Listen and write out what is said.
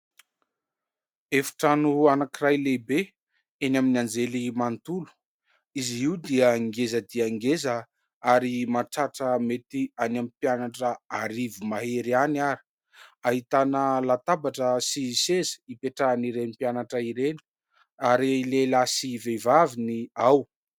Efitrano anankiray lehibe eny amin'ny anjerimanontolo. Izy io dia ngeza dia ngeza ary mahatratra mety any amin'ny mpianatra arivo mahery ihany ary ahitana latabatra sy seza hipetrahan'ireny mpianatra ireny ary lehilahy sy vehivavy ny ao.